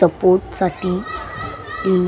support साठी म्म --